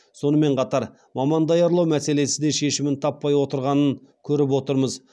сонымен қатар маман даярлау мәселесі де шешімін таппай отырғанын көріп отырмыз